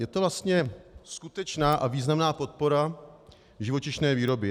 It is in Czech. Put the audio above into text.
Je to vlastně skutečná a významná podpora živočišné výroby.